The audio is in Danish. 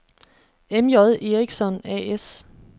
M.J. Eriksson A/S